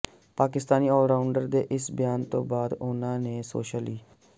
Pakistani allrounder ਦੇ ਇਸ ਬਿਆਨ ਤੋਂ ਬਾਅਦ ਉਨ੍ਹਾਂ ਨੇ ਸੋਸ਼ਲ ਮੀ